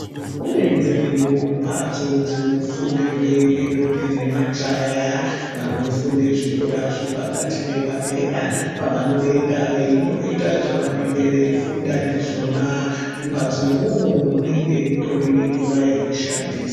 Kune dzimweniwo mbatso dzinofundirwe ngendombi nemajaya vanofunde zvikora zvepakati nepadera, pavanoenda veindoita zvavanenge veifunda ndizvona. Mumbatso mwomwo munenge mutori nemvura yekushandisa.